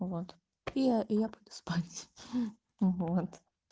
вот и я и я буду спать вот